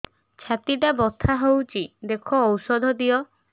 ଛାତି ଟା ବଥା ହଉଚି ଦେଖ ଔଷଧ ଦିଅ